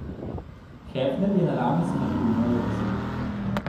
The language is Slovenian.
Hefner je naravne smrti umrl v sredo.